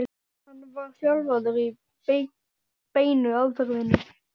hann var þjálfaður í beinu aðferðinni.